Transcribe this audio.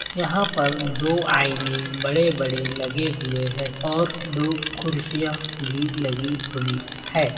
यहाँ पर दो आइनें बड़े बड़े लगे हुए हैं और दो कुर्सियां भी लगी हुई है।